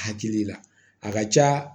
Hakili la a ka ca